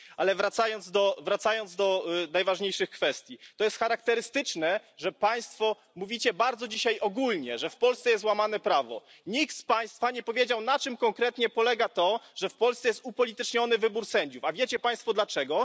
Ale wracając do najważniejszych kwestii, to jest charakterystyczne, że Państwo mówicie bardzo dzisiaj ogólnie, że w Polsce jest łamane prawo. Nikt z Państwa nie powiedział na czym konkretnie polega to, że w Polsce jest upolityczniony wybór sędziów, a wiecie Państwo dlaczego?